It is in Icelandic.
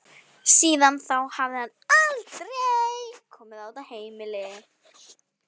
Síðan þá hafði hann aldrei komið á þetta heimili.